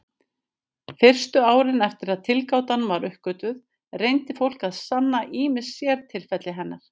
Fyrstu árin eftir að tilgátan var uppgötvuð reyndi fólk að sanna ýmis sértilfelli hennar.